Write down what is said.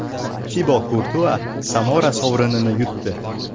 Tibo Kurtua Samora sovrinini yutdi.